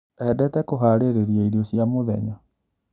Endete kũharĩria irio cia mũthenya.